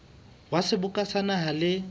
wa seboka sa naha le